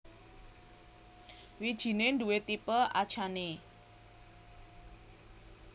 Wijiné duwé tipe achane